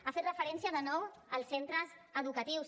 ha fet referència de nou als centres educatius